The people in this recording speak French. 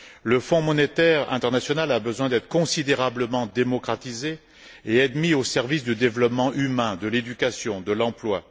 Le Fonds monétaire international a besoin d'être considérablement démocratisé et mis au service du développement humain, de l'éducation et de l'emploi.